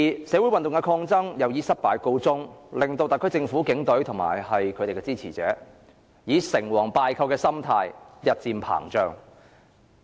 社會運動的抗爭以失敗告終，令特區政府、警隊和其支持者成王敗寇的心態日漸膨脹。